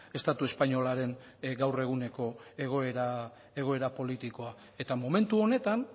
estatu espainolaren gaur eguneko egoera politikoa eta momentu honetan